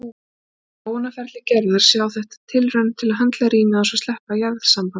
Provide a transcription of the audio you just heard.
Á þróunarferli Gerðar sé þetta tilraun til að höndla rýmið án þess að sleppa jarðsambandinu.